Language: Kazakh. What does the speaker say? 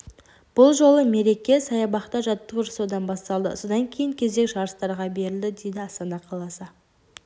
бұл жолы мереке саябақта жаттығу жасаудан басталды содан кейін кезек жарыстарға берілді дейді астана қаласы